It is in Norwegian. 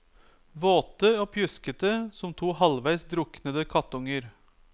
Våte og pjuskete som to halvveis druknede kattunger.